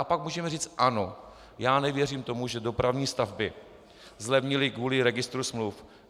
A pak můžeme říct ano, já nevěřím tomu, že dopravní stavby zlevnily kvůli registru smluv.